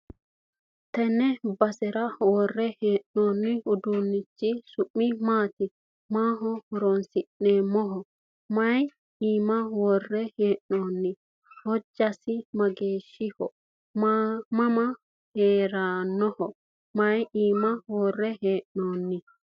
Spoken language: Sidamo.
tenne basera worre hee'noonni uduunnichi su'mi maati? maaho horonsi'neemmoho? may iima worre hee'noonni? hojjasino mageeshshiho mama hee'rannoho? may iima worre hee'noonni?